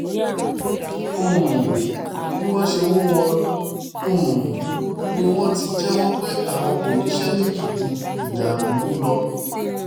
um bí wọ́n ṣe mú wọn um ni wọ́n ti jẹ́wọ́ pé àwọn kò níṣẹ́ méjì ju ìdàlúrú lọ